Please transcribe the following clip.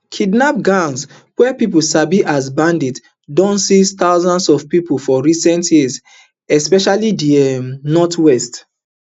kidnap gangs wey pipo sabi as bandits don seize thousands of pipo for recent years especially di um northwest